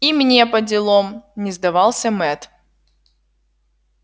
и мне поделом не сдавался мэтт